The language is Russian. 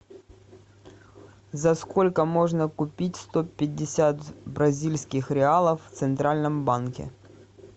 за сколько можно купить сто пятьдесят бразильских реалов в центральном банке